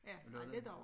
Ja ej lidt over